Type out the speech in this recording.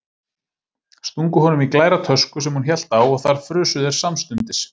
Stungu honum í glæra tösku sem hún hélt á og þar frusu þeir samstundis.